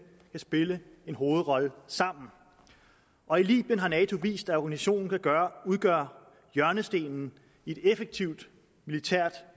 kan spille en hovedrolle sammen og i libyen har nato vist at organisationen kan udgøre hjørnestenen i et effektivt militært